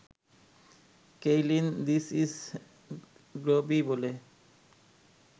Kaylin ‘this is groovy’ বলে